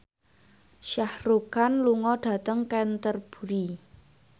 Shah Rukh Khan lunga dhateng Canterbury